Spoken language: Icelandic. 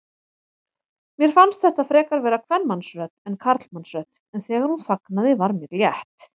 Mér fannst þetta frekar vera kvenmannsrödd en karlmannsrödd, en þegar hún þagnaði var mér létt.